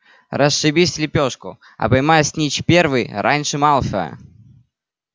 расшибись в лепёшку а поймай снитч первый раньше малфоя